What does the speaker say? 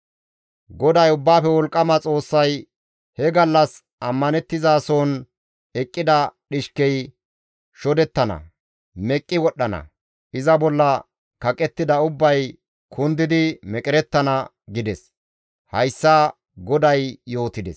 GODAY Ubbaafe Wolqqama Xoossay, «He gallas ammanththizason eqqida dhishkey shodettana; meqqi wodhdhana; iza bolla kaqettida ubbay kundidi meqerettana» gides; hayssa GODAY yootides.